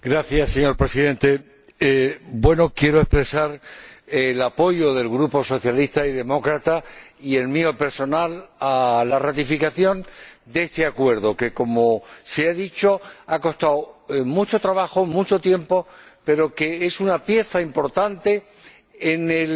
Señor Presidente, quiero expresar el apoyo del Grupo de los Socialistas y Demócratas y el mío personal a la ratificación de este Acuerdo, que, como se ha dicho, ha costado mucho trabajo, mucho tiempo, pero que es una pieza importante en el